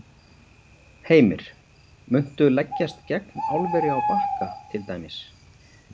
Heimir: Muntu leggjast gegn álveri á Bakka til dæmis?